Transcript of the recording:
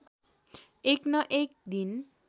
एक न एक दिन